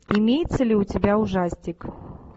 имеется ли у тебя ужастик